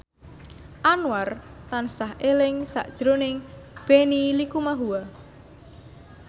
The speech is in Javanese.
Anwar tansah eling sakjroning Benny Likumahua